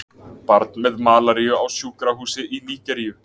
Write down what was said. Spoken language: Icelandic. Barn með malaríu á sjúkrahúsi í Nígeríu.